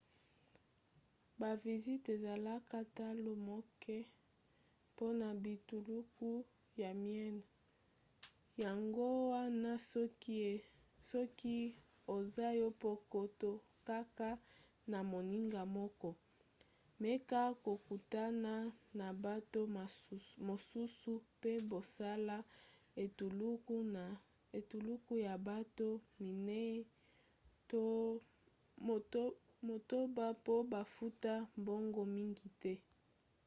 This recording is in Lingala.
baviziti ezalaka talo moke mpona bituluku ya miene yango wana soki oza yo moko to kaka na moninga moko meka kokutana na bato mosusu mpe bosala etuluku ya bato minei to motoba mpo bafuta mbongo mingi te